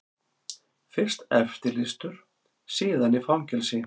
Fyrst eftirlýstur, síðan í fangelsi.